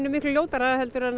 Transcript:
miklu ljótara en